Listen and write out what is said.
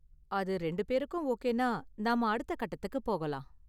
அது ரெண்டு பேருக்கும் ஓகேனா, நாம அடுத்த கட்டத்துக்கு போகலாம்.